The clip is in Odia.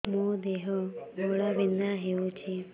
ମୋ ଦେହ ଘୋଳାବିନ୍ଧା ହେଉଛି